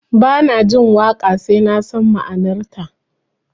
Ba na jin waƙa sai na san ma'anarta